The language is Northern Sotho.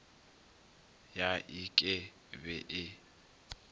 ya ik e be e